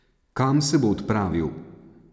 Kam se bo odpravil?